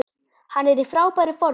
Hann er í frábæru formi.